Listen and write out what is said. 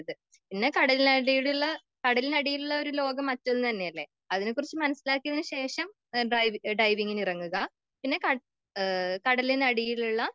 പിന്നെ കടലിന്കടലിന് അടിയിലുള്ള ഒരു ലോകം മറ്റൊന്ന് തന്നെയല്ലേ.അതിനെ കുറിച്ച് മനസിലാക്കിയതിന് ശേഷം ഡൈവിങിന് ഇറങ്ങുക.പിന്നെ കടലിന് അടിയിലുള്ള